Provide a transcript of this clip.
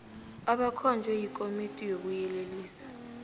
abakhonjwe yikomiti yokuyelelisa